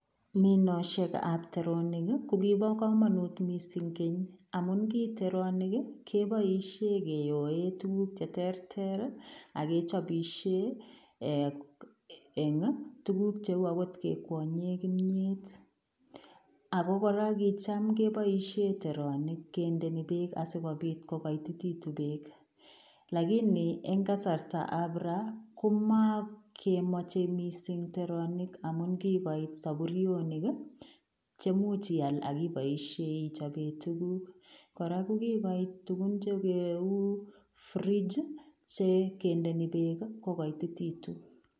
Minoshekab teronik kokibokomonut misink keny amun ki teronik kokikiboishen kiyoe tuguk cheterter ak kechopishen ee en tuguk cheu okot kekwonyen kimiet ako koraa kicham keboishen teronik kindoi beek asikobit kokoititekitun lakini en kasartab raa komokemoche misink teronik amun kibois soburionik chemuch ial ak iboisien ichoben tuguk koraa kokigoit tugun cheu fridge chekendeni beek kokoitititun.